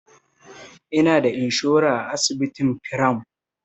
Ina da inshora a asibitin firam.